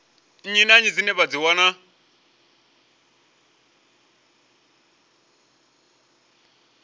nnyi dzine vha dzi wana